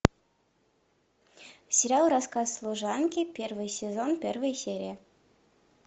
сериал рассказ служанки первый сезон первая серия